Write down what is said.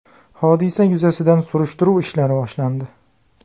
Hodisa yuzasidan surishtiruv ishlari boshlandi.